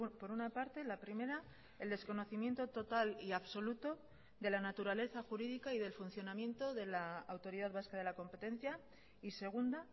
por una parte la primera el desconocimiento total y absoluto de la naturaleza jurídica y del funcionamiento de la autoridad vasca de la competencia y segunda